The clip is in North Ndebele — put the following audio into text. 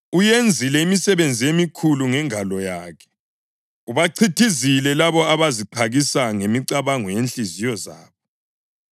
Uyenzile imisebenzi emikhulu ngengalo yakhe: ubachithizile labo abaziqakisa ngemicabango yezinhliziyo zabo.